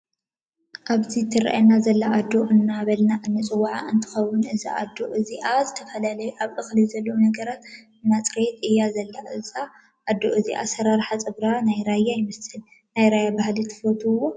ኣብዚ ትረኣየና ዘለና ኣዶ እንዳበልና እንፅዋዓ እተከውን እዛ ኣዶ እዚኣ ዝተፈላለዩ ኣብ እክሊ ዘለው ነገራት እንዳፅረያት እያ እዛ ኣዶ እዚኣ ኣሰራርሓ ፀጉራ ናይ ራያ ይመስል። ናይ ራያ ባህሊ ትፈትውዎ ?